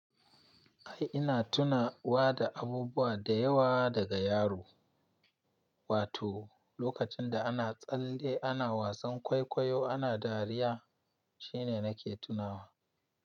Ai ina tuna wa da abubuwa da yawa daga yaro, wato lokacin da ana tsalle ana wasan kwaikwayo ana dariya shine nake tunawa.